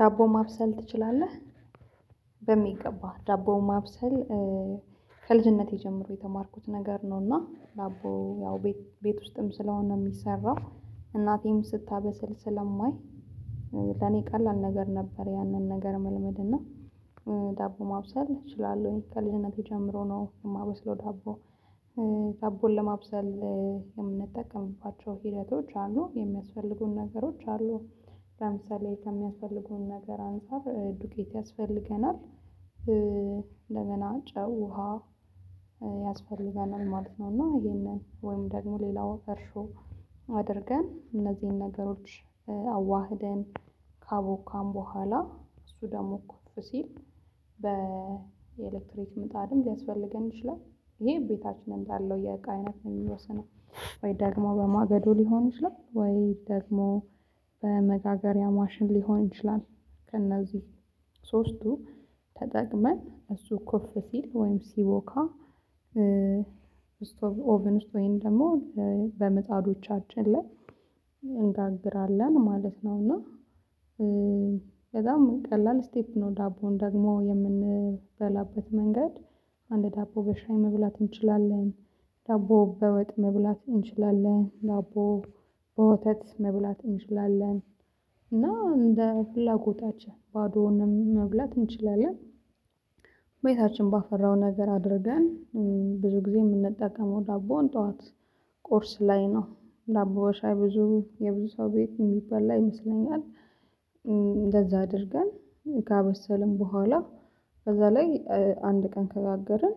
ዳቦ ማብሰል ትችላለህ? በሚገባው ዳቦ ማብሰል ከልጅነቴ ጀምሮ የተማርኩት ነገር ነው። እና ዳቦ ያው ቤት ቤት ውስጥም ስለሆነ የሚሰራው እናቴም ስታበስል ስለማይ ለኔ ቀላል ነገር ነበር። ያንን ነገር መልመድ እና ዳቦ ማብሰል እችላለሁ ከልጅነቴ ጀምሮ ነው የማበስለው ዳቦ። ዳቦን ለማብሰል የምንጠቀምባቸው ሂደቶች አሉ የሚያስፈልጉን ነገሮች አሉ። ለምሳሌ ከሚያስፈልገው ነገር አንፃር ዱቄት ያስፈልገናል እንደገና ጨው ውሃ ያስፈልገናል ማለት ነው። እና ይሄንን ወይም ደግሞ ሌላው እርሾ አድርገን እነዚህን ነገሮች አዋህደን ካቦካን በኋላ እሱ ደግሞ እኮ ኩፍ ሲል በኤሌክትሪክ ምጣድም ሊያስፈልገን ይችላል። ይሄ እቤታችን እንዳለው የቃ አይነት ነው የሚወስነው። ወይ ደግሞ በማገዶ ሊሆን ይችላል ወይ ደግሞ በመጋገሪያ ማሽን ሊሆን ይችላል። ከእነዚህ ሶስቱ ተጠቅመን እሱ ኮፍ ሲል ወይም ሲቦካ ኦቨን ውስጥ ወይም ደግሞ በምጣዶቻችን ላይ እንጋግራለን ማለት ነው። እና ከዛም ቀላል ስቴፕ ነው ዳቦውን ደግሞ የምንበላበት መንገድ አንድ ዳቦ በሻይ መብላት እንችላለን ዳቦ በወጥ መብላት እንችላለን ዳቦ በወተት መብላት እንችላለን እና እንደ ፍላጎታችን ባዶውንም መብላት እንችላለን። ቤታችን ባፈራው ነገር አድርገን ብዙ ጊዜ የምንጠቀመው ዳቦውን ጠዋት ቁርስ ላይ ነው ዳቦ በሻይ ብዙ የብዙ ሰው ቤት የሚበላ ይመስለኛል። እንደዛ አድርገን ካበሰልን በኋላ ከዛ ላይ አንድ ቀን ከጋገርን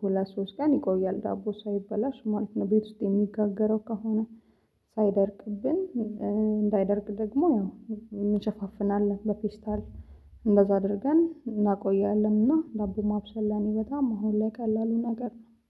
ሁለት ሶስት ቀን ይቆያል ዳቦ ሳይበላሽ ማለት ነው። ቤት ውስጥ የሚጋገረው ከሆነ ሳይደርቅብን እንዳይደርቅ ደግሞ ያው የምንሸፋፍናለን በፌስታል እንደዛ አድርገን እናቆያለንና ዳቦ ማብሰል ለኔ በጣም አሁን ላይ ቀላሉ ነገር ነው።